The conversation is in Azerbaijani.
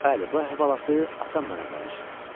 Bəli, bu əhvalatı atam mənə danışdı.